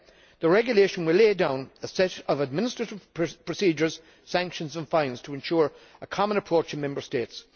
The regulation will lay down a set of administrative procedures, sanctions and fines to ensure a common approach in the Member States.